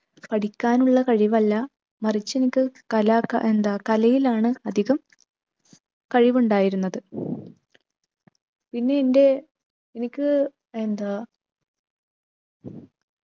പഠിക്കാനുള്ള കഴിവല്ല മറിച്ച് എനിക്ക് കലാ ക എന്താ കലയിലാണ് അധികം കഴിവുണ്ടായിരുന്നത്. പിന്നെ എൻ്റെ എനിക്ക് എന്താ